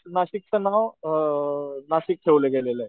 नाशिकचं नाव अ नाशिक ठेवलं गेललंय.